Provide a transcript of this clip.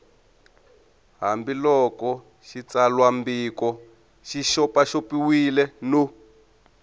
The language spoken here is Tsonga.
hambiloko xitsalwambiko xi xopaxopiwile no